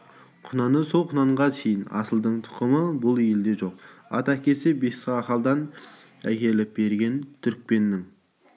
құнаны сол құнанға шейін асылдың тұқымы бүл елде жоқ ат әкесі бесқаладан әкеліп берген түрікпеннің